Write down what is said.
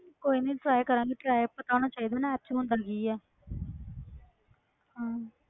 ਕੋਈ ਨੀ try ਕਰਾਂਗੇ try ਪਤਾ ਹੋਣਾ ਚਾਹੀਦਾ ਨਾ app 'ਚ ਹੁੰਦਾ ਕੀ ਹੈ ਹਾਂ